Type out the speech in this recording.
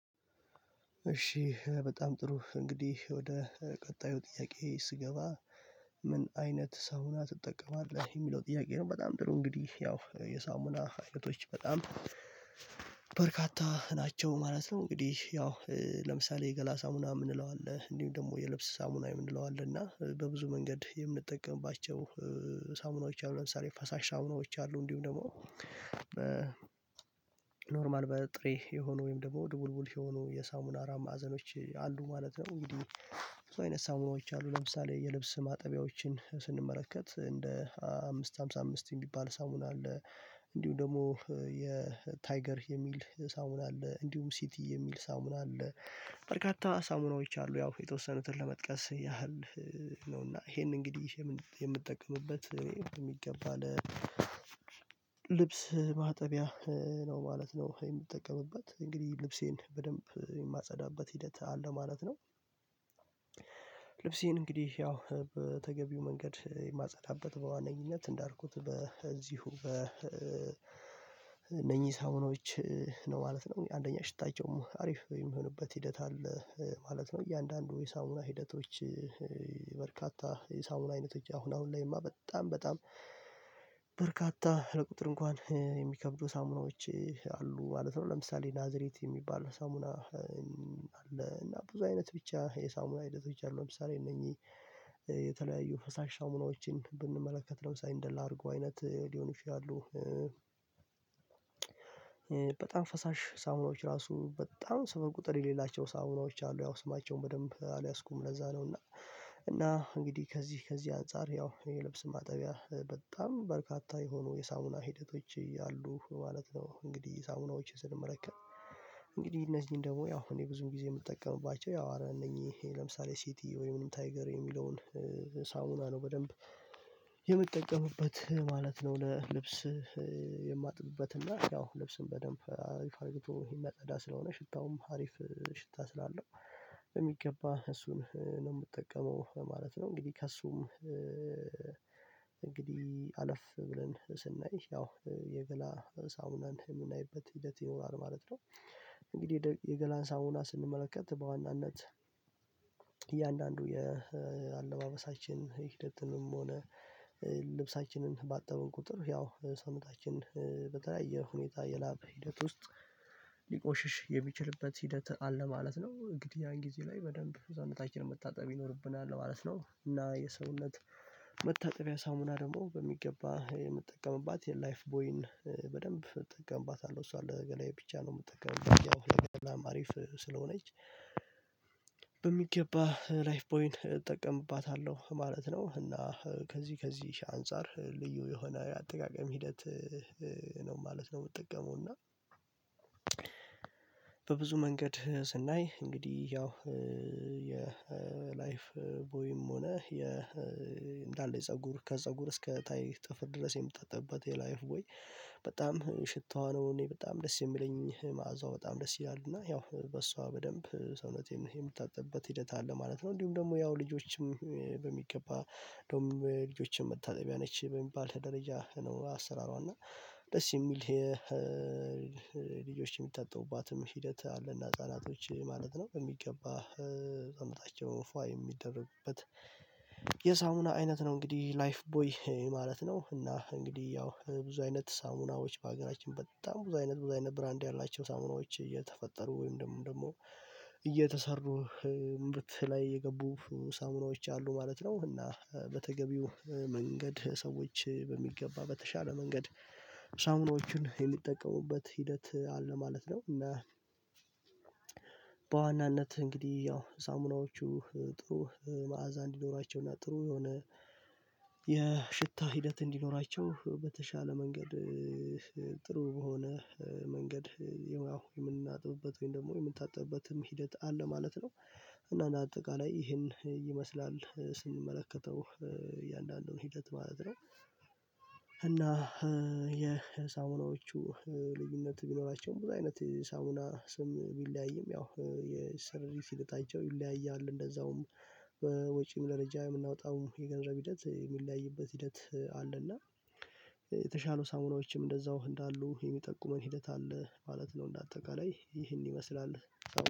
እሺ በጣም ጥሩ እንግዲህ ወደ ቀጣዩ ጥያቄ ስገባ ምን አይነት ሳሙና ትጠቀማለህ የሚለው ጥያቄ ነው? በጣም ጥሩ እንግዲህ ያው የሳሙና አይነቶች በጣም ናቸው ማለት ነው። እንግዲህ ያው ለምሳሌ የገላ ሳሙና የምንለው አለ እንዲሁም ደግሞ የልብስ ሳሙና የምንለው አለ እና በብዙ መንገድ የምንጠቀምባቸው ሳሙናዎች አሉ ለምሳሌ ፈሳሽ ሳሙናዎች አሉ እንዲሁም ደግሞ በኖርማል በጥሬ የሆኑ ወይም ደግሞ ድቡልቡል የሆኑ የሳሙና አራት መአዘኖች አሉ ማለት ነው። እንግዲህ ብዙ አይነት ሳሙናዎች አሉ ለምሳሌ የልብስ ማጠቢያዎችን ስንመረከት እንደ አምስት ሃምሳ አምስት የሚባል ሳሙን አለ። እንዲሁ ደግሞ የታይገር የሚል ሳሙና አለ እንዲሁም ሲቲ የሚል ሳሙና አለ። በርካታ ሳሙናዎች አሉ ያው የተወሰኑትን ለመጥቀስ ያህል ነውና ይሄን እንግዲህ የምትጠቀምበት የሚገባ ልብስ ማጠቢያ ነው ማለት ነው። የምጠቀምበት እንግዲህ ልብሴን በደንብ የማጸዳበት ሂደት አለ ማለት ነው። ልብስ ይሄን እንግዲህ ያው በተገቢው መንገድ የማጸዳበት በዋነኝነት እንዳልኩት በዚሁ በነኚህ ሳውኖች ነው ማለት ነው። አንደኛ ሽታቸው አሪፍ የሚሆንበት ሂደት አለ ማለት ነው እያንዳንዱ የሳሙና ሂደቶች በርካታ የሳሙና አይነቶች አሁን አሁን ላይማ በጣም በጣም በርካታ ለቁጥር እንኳን የሚከብዱ ሳሙናዎች አሉ ማለት ነው። ለምሳሌ ናዝሬት የሚባል ሳሙና እና ብዙ አይነት ብቻ የሳሙና አይነቶች አሉ። ለምሳሌ እነዚህ የተለያዩ ፈሳሽ ሳሙናዎችን ብንመለከት ለምሳሌ እንደላርጉ አይነት ሊሆን ይችላሉ። በጣም ፈሳሽ ሳውናዎች ራሱ በጣም ስብር ቁጥር የሌላቸው ሳውናዎች አሉ ያው ስማቸውን በደንብ አልያዝኩም ለዛ ነው። እና እና እንግዲህ ከዚህ ከዚህ አንፃር ያው የልብስ ማጠቢያ በጣም በርካታ የሆኑ የሳውና ሂደቶች ያሉ ማለት ነው። እንግዲህ ሳሙናዎችን ስንመለከት እንግዲህ እነዚህን ደግሞ ያው እኔ ብዙም ጊዜ የምጠቀምባቸው ያው አረ እነኚህ ለምሳሌ ሲቲ ወይም ታይገር የሚለውን ሳሙና ነው በደንብ የምትጠቀምበት ማለት ነው። ለልብስ የማጥብበት እና ያው ልብስን በደንብ አሪፍ አርጎ የመጸዳ ስለሆነ ሽታውም አሪፍ ሽታ ስላለው የሚገባ እሱን ነው የምጠቀመው ማለት ነው። እንግዲህ ከእሱም እንግዲህ አለፍ ብለን ስናይ ያው የገላ ሳሙናን የምናይበት ሂደት ይኖራል ማለት ነው። እንግዲህ የገላን ሳሙና ስንመለከት በዋናነት እያንዳንዱ የአለባበሳችን ሂደትንም ሆነ ልብሳችንን ባጠብን ቁጥር ያው ሰመታችን በተለያየ ሁኔታ የላብ ሂደት ውስጥ ሊቆሽሽ የሚችልበት ሂደት አለ ማለት ነው። እንግዲህ ያን ጊዜ ላይ በደንብ ህዝባችንን መታጠብ ይኖርብናል ማለት ነው። እና የሰውነት መታጠቢያ ሳሙና ደግሞ በሚገባ የምጠቀምባት የላይፍ ቦይን በደንብ እጠቀምባታለሁ እሷ ለገላዬ ብቻ ነው የምጠቀምባት ያው ለገላማ አሪፍ ስለሆነች በሚገባ ላይፍ ቦይን እጠቀምባታለሁ ማለት ነው እና ከዚህ ከዚህ አንፃር ልዩ የሆነ አጠቃቀም ሂደት ነው ማለት ነው። የምጠቀመው እና በብዙ መንገድ ስናይ እንግዲህ ያው የ ላይፍ ቦይም ሆነ የ እንዳለ የፀጉር ከፀጉር እስከ ታይ ጥፍር ድረስ የምትጠጥቅበት የላይፍ ቦይ ወይ በጣም ሽታዋ ነው እኔ በጣም ደስ የሚለኝ ማዕዛው በጣም ደስ ይላል እና ያው በሷ በደንብ ሰውነቴን የምታጠብበት ሂደት አለ ማለት ነው። እንዲሁም ደግሞ ያው ልጆችም በሚገባ እንደውም ለልጆችን መታጠቢያ ነች በሚባል ደረጃ ነው አሰራሯ እና ደስ የሚል ልጆች የሚታጠቡባትም ሂደት አለና ህፃናቶች ማለት ነው በሚገባ ሰውነታቸው ፍዋ የሚደረግበት የሳሙና አይነት ነው እንግዲህ ላይፍ ቦይ ማለት ነው። እና እንግዲህ ያው ብዙ አይነት ሳሙናዎች በሀገራችን በጣም ብዙ አይነት ብዙ አይነት ብራንድ ያላቸው ሳሙናዎች እየተፈጠሩ ወይም ደግሞ ደግሞ እምብት ላይ የገቡ ሳሙናዎች አሉ ማለት ነው። እና በተገቢው መንገድ ሰዎች በሚገባ በተሻለ መንገድ ሳምኖችን የሚጠቀሙበት ሂደት አለ ማለት ነው። እና በዋናነት እንግዲህ ያው ሳሙናዎቹ ጥሩ መዓዛ እንዲኖራቸውና ጥሩ የሆነ የሽታ ሂደት እንዲኖራቸው በተሻለ መንገድ ጥሩ በሆኖ መንገድ የምናጥብበት ወይም ደግሞ የምንታጠብበትም ሂደት አለ ማለት ነው። እና አጠቃላይ ይሄን ይመስላል ስንመለከተው እያንዳንዱን ሂደት ማለት ነው። እና የሳሙናዎቹ ልዩነት ቢኖራቸውም ቦታ አይነት ሳሙና ስም ቢለያይም ያው የሰሪት ሂደታቸው ይለያያል እንደዛውም በወጪም ደረጃ የምናወጣው የገንዘብ ሂደት የሚለያይበት ሂደት አለና የተሻሉ ሳሙናዎችም እንደዛው እንዳሉ የሚጠቁመን ሂደት አለ ማለት ነው። እንደ አጠቃላይ ይህን ይመስላል